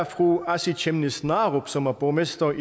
fru asii chemnitz narup som er borgmester